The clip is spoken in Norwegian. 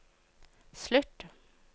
slutt